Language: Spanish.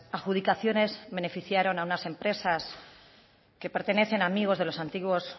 adjudicaciones beneficiaron a unas empresas que pertenecen a amigos de los antiguos